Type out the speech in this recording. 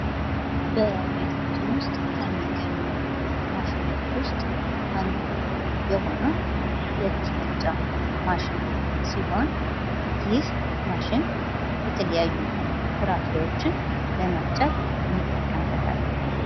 በቤታችን ከሚገኝ ማሽኖች ዉስጥ አንዱ የሆነው የ መፍጫ ማሽን ሲሆን ይህ ማሽ የተለያዩ ፍራፍሬዎችን ለመፍበጨት እንጠቀበታለን።